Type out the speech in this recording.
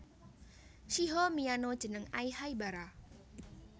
Shiho miyano jeneng Ai Haibara